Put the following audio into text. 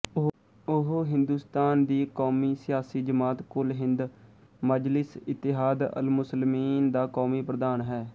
ਉਹ ਹਿੰਦੁਸਤਾਨ ਦੀ ਕੌਮੀ ਸਿਆਸੀ ਜਮਾਤ ਕੁਲ ਹਿੰਦ ਮਜਲਿਸ ਇਤਿਹਾਦ ਅਲਮੁਸਲਮੀਨ ਦਾ ਕੌਮੀ ਪ੍ਰਧਾਨ ਹੈ